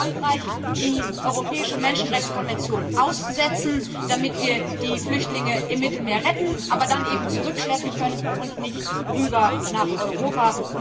Wir müssen wie Frankreich die Europäische Menschenrechtskonvention aussetzen, damit wir die Flüchtlinge im Mittelmeer retten, aber dann eben zurückschleppen können und nicht herüber nach Europa.